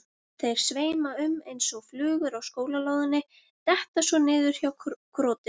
Þeir sveima um eins og flugur á skólalóðinni, detta svo niður hjá krotinu.